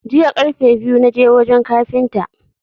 Jiya karfe biyu na je wajan kafintan.